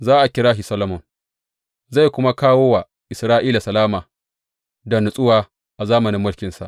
Za a kira shi Solomon, zai kuma kawo wa Isra’ila salama da natsuwa a zamanin mulkinsa.